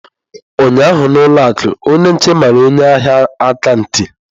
Ụnyaahụ na ụlọ akụ, onye nche mara onye ahịa aka ntị.